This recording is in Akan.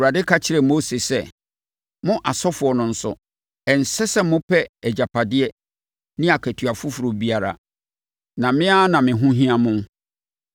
Awurade ka kyerɛɛ Aaron sɛ, “Mo asɔfoɔ no nso, ɛnsɛ sɛ mopɛ agyapadeɛ ne akatua foforɔ biara. Na me ara na me ho hia mo.